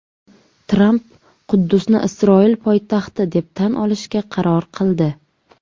Tramp Quddusni Isroil poytaxti deb tan olishga qaror qildi.